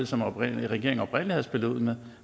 som regeringen oprindelig havde spillet ud med